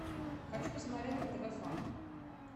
хочу посмотреть на тв фан